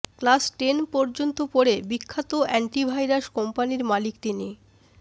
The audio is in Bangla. ক্লাস টেন পর্যন্ত পড়ে বিখ্যাত অ্যান্টিভাইরাস কোম্পানির মালিক তিনি